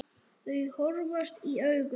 Þau horfast í augu.